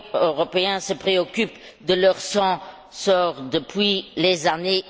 européen se préoccupe de leur sort depuis les années